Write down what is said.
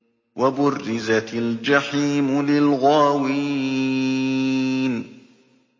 وَبُرِّزَتِ الْجَحِيمُ لِلْغَاوِينَ